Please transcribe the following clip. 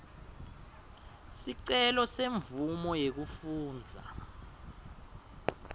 sicelo semvumo yekufundza